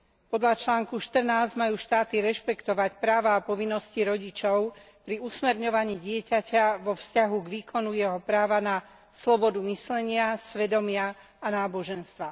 Podľa článku 14 majú štáty rešpektovať práva a povinnosti rodičov pri usmerňovaní dieťaťa vo vzťahu k výkonu jeho práva na slobodu myslenia, svedomia a náboženstva.